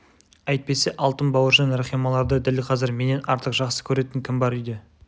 әйтпесе алтын бауыржан рахималарды дәл қазір менен артық жақсы көретін кім бар үйде